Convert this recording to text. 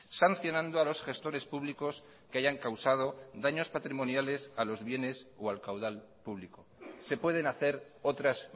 sancionando a los gestores públicos que hayan causado daños patrimoniales a los bienes o al caudal público se pueden hacer otras